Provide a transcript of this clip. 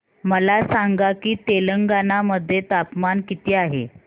मला सांगा की तेलंगाणा मध्ये तापमान किती आहे